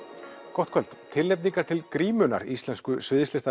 gott kvöld tilnefningar til grímunnar íslensku